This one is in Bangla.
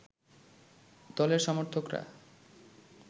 দলের সমর্থকরা